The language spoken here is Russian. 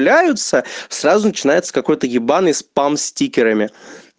являются сразу начинается какой-то ебаный спам стикерами